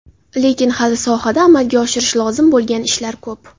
Lekin hali sohada amalga oshirish lozim bo‘lgan ishlar ko‘p.